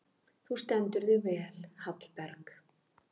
Þú stendur þig vel, Hallberg!